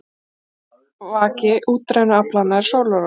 Aflvaki útrænu aflanna er sólarorkan.